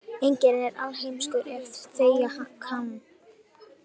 Enginn er alheimskur ef þegja kann.